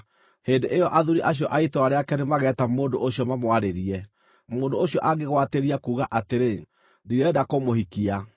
Hĩndĩ ĩyo athuuri acio a itũũra rĩake nĩmageta mũndũ ũcio mamwarĩrie. Mũndũ ũcio angĩgwatĩria kuuga atĩrĩ, “Ndirenda kũmũhikia,”